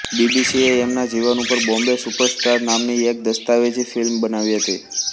બીબીસીએ એમના જીવન ઉપર બોમ્બે સુપરસ્ટાર નામની એક દસ્તાવેજી ફિલ્મ બનાવી હતી